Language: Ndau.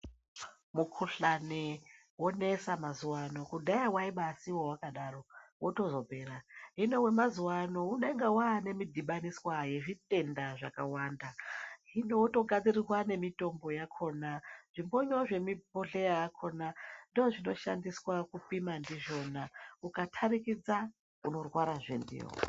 Mukuhlane wonesa mazuwaano kudhaya waibasiiwa wakadaro wotozopera hino wemazuwa ano unenge waane midhibaniswa yezvitenda zvakawanda hino wotogadzirirwa nemitombo yakona zvibono zvemibhohleya yakona ndoo zvinoshandiswa kupima ndizvona ukatarikidza unorwara zve ndiwo.